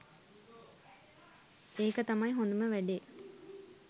එක තමයි හොදම වැඩේ.